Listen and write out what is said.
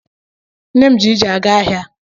Nne m ji ije aga ahịa.